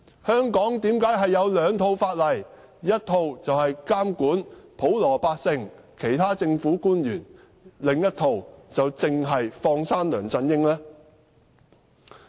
香港為何有兩套法例？一套監管普羅百姓和其他政府官員，另一套卻只是放生梁振英呢？